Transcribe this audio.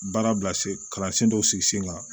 Baara bilasira kalansen dɔw sigi sen kan